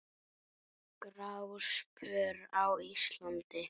Gráspör á Íslandi